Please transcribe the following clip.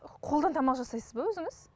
қолдан тамақ жасайсыз ба өзіңіз